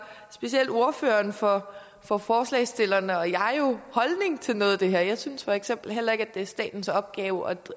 specielt ordføreren for for forslagsstillerne og jeg jo holdning til noget af det her jeg synes for eksempel heller ikke at det er statens opgave at